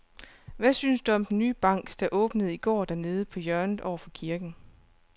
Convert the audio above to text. Hvad synes du om den nye bank, der åbnede i går dernede på hjørnet over for kirken?